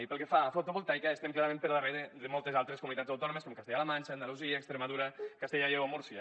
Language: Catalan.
i pel que fa a fotovoltaica estem clarament per darrere de moltes altres comunitats autònomes com castella la manxa andalusia extremadura castella i lleó o múrcia